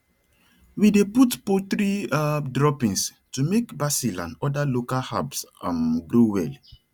we dey put poultry um droppings to make basil and other local herbs um grow well